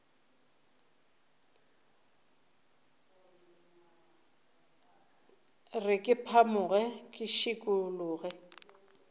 re ke phamoge ke šikologe